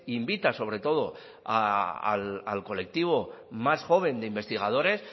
invita sobre todo al colectivo más joven de investigadores